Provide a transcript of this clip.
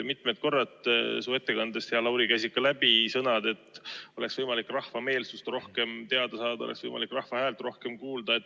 Mitmel korral käisid su ettekandest, hea Lauri, läbi sõnad, et "oleks võimalik rahva meelsust rohkem teada saada" ja "oleks võimalik rahva häält rohkem kuulda".